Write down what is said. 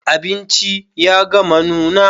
Abinci ya gama nuna.